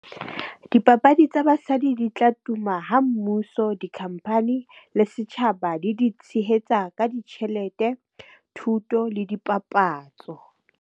Dipapadi tsa basadi di tla tuma ha mmuso, dikhamphani le setjhaba di di tshehetsa ka ditjhelete, thuto le dipapatso.